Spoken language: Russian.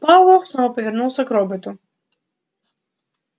пауэлл снова повернулся к роботу